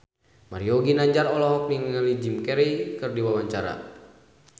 Mario Ginanjar olohok ningali Jim Carey keur diwawancara